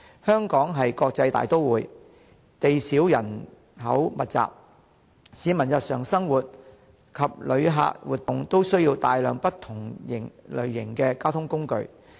香港是國際大都會，地少人口密集，市民日常生活及旅客活動都需要大量不同類型的交通工具。